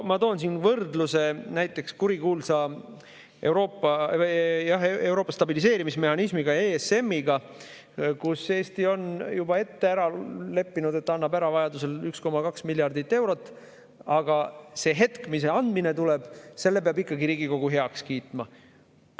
Ma toon võrdluse näiteks kurikuulsa Euroopa stabiliseerimismehhanismiga, ESM‑iga, kus Eesti on juba ette leppinud, et ta annab vajaduse korral ära 1,2 miljardit eurot, aga selle hetke, millal see andmine tuleb, peab ikkagi Riigikogu heaks kiitma.